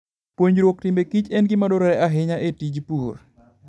Puonjruok timbe kich en gima dwarore ahinya e tij pur.